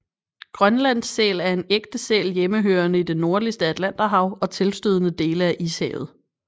Grønlandssæl er en ægte sæl hjemmehørende i det nordligste Atlanterhav og tilstødende dele af Ishavet